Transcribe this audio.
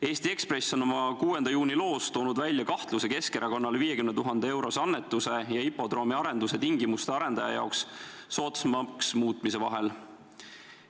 Eesti Ekspress on oma 6. juuni loos toonud välja kahtluse Keskerakonna saadud 50 000 euro suuruse annetuse ja hipodroomi arenduse tingimuste arendaja jaoks soodsamaks muutmise vahel.